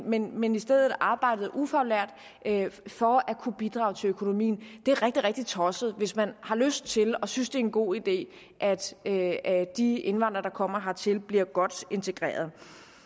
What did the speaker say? men men i stedet arbejdede som ufaglærte for at kunne bidrage til økonomien det er rigtig rigtig tosset hvis man har lyst til og synes det er en god idé at at de indvandrere der kommer hertil bliver godt integreret